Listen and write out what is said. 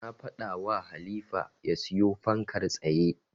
Na faɗawa Halifa ya siyo fankar tsaye.